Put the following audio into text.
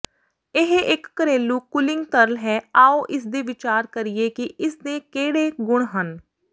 ਇਹ ਇਕ ਘਰੇਲੂ ਕੂਲਿੰਗ ਤਰਲ ਹੈ ਆਓ ਇਸਦੇ ਵਿਚਾਰ ਕਰੀਏ ਕਿ ਇਸਦੇ ਕਿਹੜੇ ਗੁਣ ਹਨ